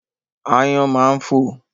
Aáyán máa ń fò.